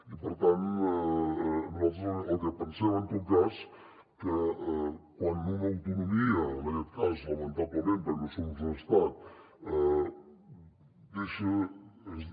i per tant nosaltres el que pensem és en tot cas que quan una autonomia en aquest cas lamentablement perquè no som un estat